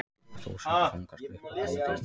Þúsundir fanga sluppu úr haldi